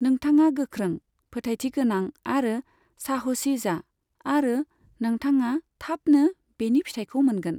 नोंथाङा गोख्रों, फोथायथि गोनां आरो साहसि जा आरो नोंथाङा थाबनो बेनि फिथाइखौ मोनगोन।